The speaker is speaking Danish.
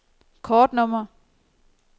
kortnummer